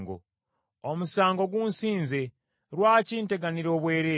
Omusango gunsinze, lwaki nteganira obwereere?